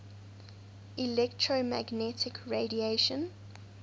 electromagnetic radiation